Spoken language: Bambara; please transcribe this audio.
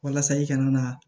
Walasa i kana na